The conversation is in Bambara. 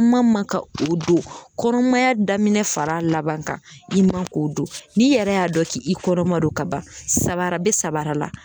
Kuma man ka o don kɔnɔmaya daminɛ far'a laban kan i man k'o don n'i yɛrɛ y'a dɔn k'i kɔrɔma don ka ban sabara be sabara la l